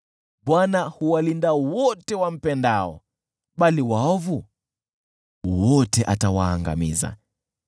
Bwana huwalinda wote wampendao, bali waovu wote atawaangamiza.